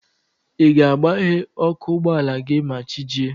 Ị ga-agbaghe ọkụ ụgbọala gị ma chi jie?